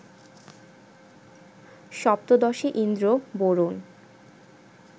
সপ্তদশে Indra, Varun